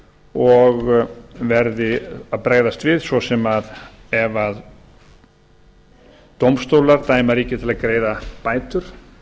og verði að bregðast við svo sem ef dómstólar dæma ríkið til að greiða bætur